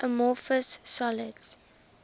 amorphous solids